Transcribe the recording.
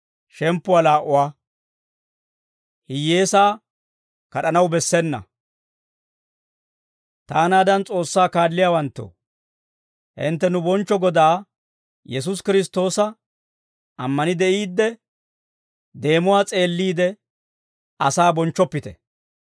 Taanaadan S'oossaa kaalliyaawanttoo, hintte nu bonchcho Godaa Yesuusi Kiristtoosa ammani de'iidde, deemuwaa s'eelliide, asaa bonchchoppite.